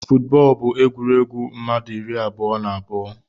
Footbọl bu egwuregwu mmadu iri abụọ na abụọ.